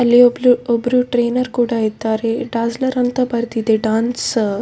ಅಲ್ಲಿ ಒಬ್ಳು ಒಬ್ರು ಟೈನರ್‌ ಕೂಡ ಇದ್ದಾರೆ ಡಾಸ್ಲರ್ ಅಂತ ಬರ್ದಿದೆ ಡಾನ್ಸ್ ಅಹ್ --